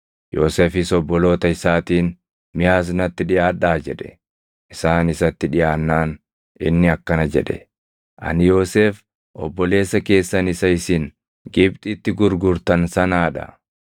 Yoosefis obboloota isaatiin, “Mee as natti dhiʼaadhaa” jedhe. Isaan isatti dhiʼaannaan inni akkana jedhe; “Ani Yoosef obboleessa keessan isa isin Gibxitti gurgurtan sanaa dha!